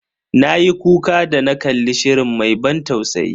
Na yi kuka da na kalli shirin mai ban tausayi.